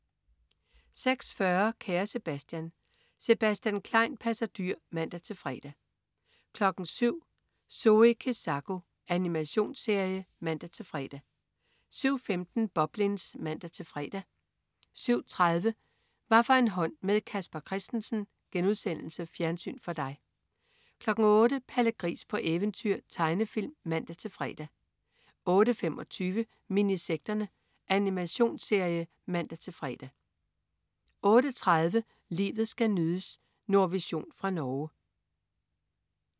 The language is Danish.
06.40 Kære Sebastian. Sebastian Klein passer dyr (man-fre) 07.00 Zoe Kezako. Animationsserie (man-fre) 07.15 Boblins (man-fre) 07.30 Hvaffor en hånd med Casper Christensen.* Fjernsyn for dig 08.00 Palle Gris på eventyr. Tegnefilm (man-fre) 08.25 Minisekterne. Animationsserie (man-fre) 08.30 Livet skal nydes. Nordvision fra Norge